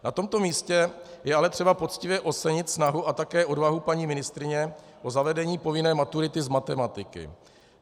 Na tomto místě je ale třeba poctivě ocenit snahu a také odvahu paní ministryně o zavedení povinné maturity z matematiky.